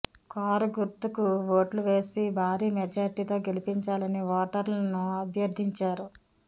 car గుర్తుకు ఓట్లు వేసి భారీ మెజార్టీతో గెలిపించాలని ఓటర్లను అభ్యర్థించారు